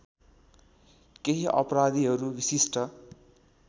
केही अपराधीहरू विशिष्ट